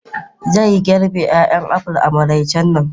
Zai girbe 'ya'yan apples a maraicen nan.